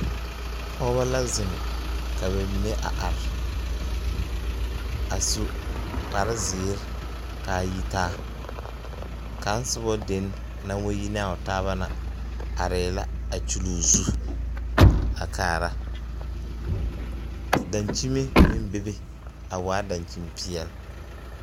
Pɔge la ziŋ ka ba mine are a su kpare zēēre kaa yi taa kaŋ soba den naŋ wa yi ne a o taaba na arɛɛ la a kyul o zu a kaara daŋkyime meŋ bebe a waa daŋkyim peɛl.